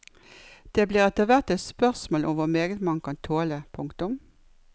Det blir etterhvert et spørsmål om hvor meget man kan tåle. punktum